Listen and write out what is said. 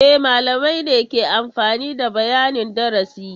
E, malamai ne ke amfani da bayanin darasi.